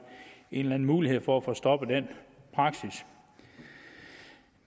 en eller anden mulighed for at få stoppet den praksis